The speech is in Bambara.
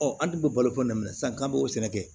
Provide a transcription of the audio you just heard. Ɔ an dun bɛ balo ko na sisan k'an b'o sɛnɛ kɛ